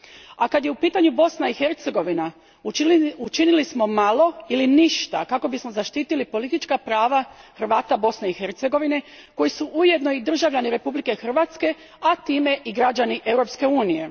A kad je u pitanju Bosna i Hercegovina učinili smo malo ili ništa kako bismo zaštitili politička prava Hrvata Bosne i Hercegovine, koji su ujedno i državljani Republike Hrvatske, a time i građani Europske unije.